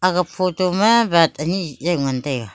aga photo ma bike ani jaw ngan taiga.